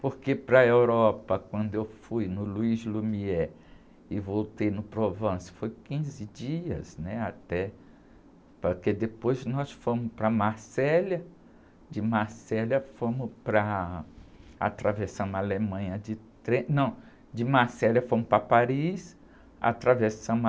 Porque para a Europa, quando eu fui no Louis Lumière e voltei no Provence, foi quinze dias, né? Até, porque depois nós fomos para Marselha, de Marselha fomos para, atravessamos a Alemanha de trem, não, de Marselha fomos para Paris, atravessamos a...